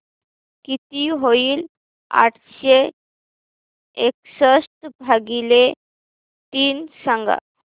किती होईल आठशे एकसष्ट भागीले तीन सांगा